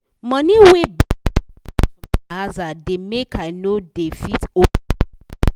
money wey bank dey comot for my aza da make i no da fit hold money